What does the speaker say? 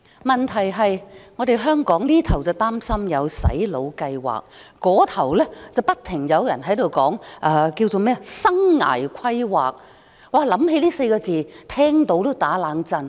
問題是在香港，這邊廂有人擔心有"洗腦"計劃，那邊廂不停有人談"生涯規劃"，這4個字讓人聽到也"打冷震"。